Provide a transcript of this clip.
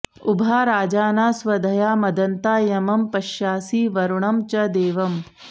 उ॒भा राजा॑ना स्व॒धया॒ मद॑न्ता य॒मं प॑श्यासि॒ वरु॑णं च दे॒वम्